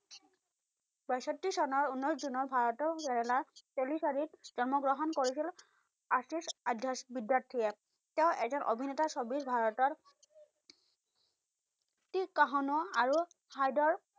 বাচত্তি চনৰ উনৈশ জুনত ভাৰতৰ কেৰেলাত তেলিচাৰিত জন্ম গ্ৰহণ কৰিছিল, আচিচ আধিচ বিদ্যাৰ্থিয়ে। তেওঁ এজন অভিনেতা ছবি ভাৰতৰ তিৰকাহনৰ আৰু হাইদৰ